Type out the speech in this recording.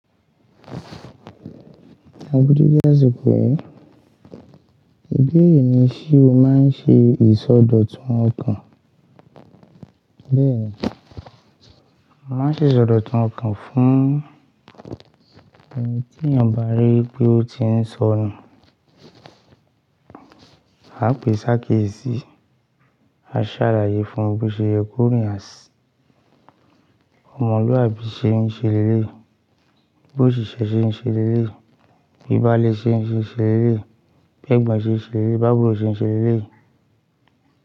Agudéjẹ́ sọ pé ìdí èyí ni sé o máa ń ṣe ìsọdọ̀tun ọkàn. Bẹ́ẹ̀, mo màá ṣe ìsọ dọ̀tun ọkàn fún ẹni tí èèyàn bá rí pé ó ti ń sọnù. A pè sáà ké sí, a sá à láyé fún bí o ṣe yẹ ko rìn, à sì omọ̀luabí ṣe ń ṣe lé lé yi, bí òṣìṣẹ́ ṣe ń ṣe lé lé yi, bí baálé ṣe ń ṣe lé lé yi, bi ẹ́gbọ̀n ṣe ń ṣe lé lé yi, bi àbùrò ṣe ń ṣe lé lé yìí.